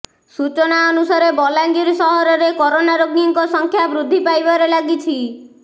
ସୂଚନା ଅନୁସାରେ ବଲାଙ୍ଗୀର ସହରରେ କରୋନା ରୋଗୀଙ୍କ ସଂଖ୍ୟା ବୃଦ୍ଧି ପାଇବାରେ ଲାଗିଛି